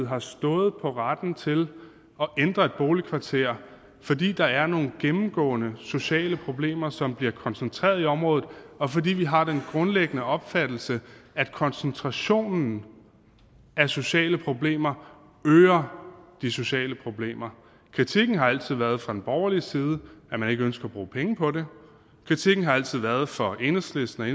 har stået på retten til at ændre et boligkvarter fordi der er nogle gennemgående sociale problemer som bliver koncentreret i området og fordi vi har den grundlæggende opfattelse at koncentrationen af sociale problemer øger de sociale problemer kritikken har altid været fra den borgerlige side at man ikke ønsker at bruge penge på det kritikken har altid været fra enhedslisten og